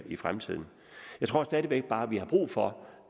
i fremtiden jeg tror stadig væk bare vi har brug for